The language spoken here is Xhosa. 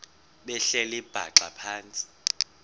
behleli bhaxa phantsi